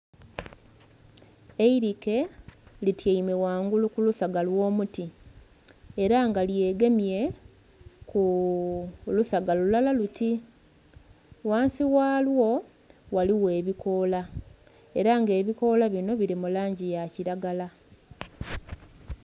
Eilike lityeime ghangulu kulusaga olwo muti era nga lyeegemye kulusaga lulala luti ghansi ghalwo ghaligho ebikola era nga ebikola binho bili mulangi yakilagala.